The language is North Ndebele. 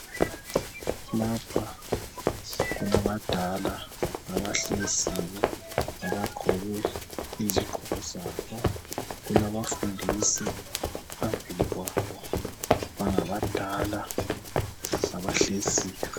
Lapha kulabadala abahleziyo abagqoke izogqoko zabo kulabafundisi phambili kwabo bangabadala abahleziyo.